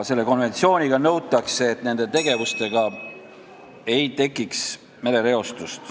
Konventsiooniga nõutakse, et nende tegevustega ei tekiks merereostust.